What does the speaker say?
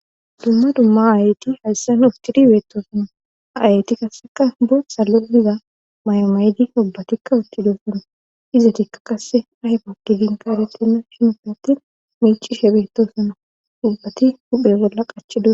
dumma dumma ayyti hayssan uftiri beetosana ayyti kasseka bo sallo diza may7omaydi ubbatikka uttido suna izetikka kasse ayfakki dinka aretenna shinufe attin miichi she beetosona ubbati huphe golla qachido